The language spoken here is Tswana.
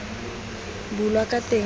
bulwa ka teng le go